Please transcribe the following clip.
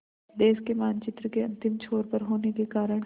देश के मानचित्र के अंतिम छोर पर होने के कारण